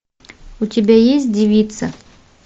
у тебя есть девица